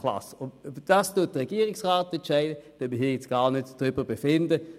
Darüber entscheidet der Regierungsrat, darüber gibt es nichts zu befinden;